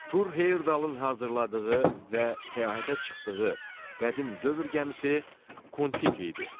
Tur Heyerdalın hazırladığı və səyahətə çıxdığı qədim dövr gəmisi Kon-Tiki idi.